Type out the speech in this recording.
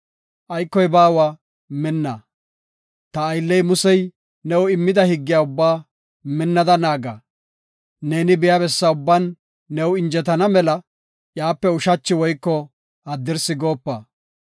Aykoy baawa minna. Ta aylley Musey new immida higgiya ubbaa minthada naaga. Neeni biya bessa ubban new injetana mela iyape ushachi woyko haddirsi goopa.